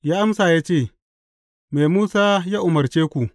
Ya amsa ya ce, Me Musa ya umarce ku?